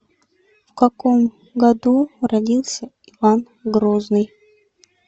в каком году родился иван грозный